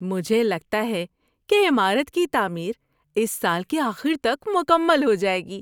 مجھے لگتا ہے کہ عمارت کی تعمیر اس سال کے آخر تک مکمل ہو جائے گی۔